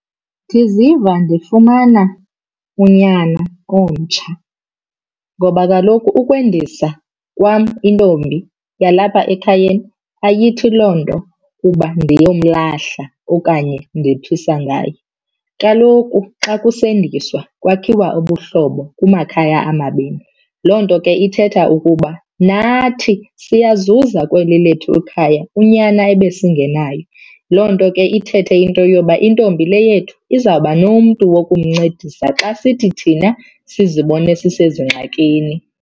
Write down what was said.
Ndiziva ndifumana unyana omtsha ngoba kaloku ukwendisa kwam intombi yalapha ekhayeni ayithi loo nto kuba ndiyomlahla okanye ndiphisa ngaye. Kaloku xa kusendiswa kwakhiwa ubuhlobo kumakhaya amabini, loo nto ke ithetha ukuba nathi siyazuza kweli lethu ikhaya unyana ebesingenayo. Loo nto ke ithethe into yoba intombi le yethu izawuba nomntu wokumncedisa xa sithi thina sizibone sisezingxakini.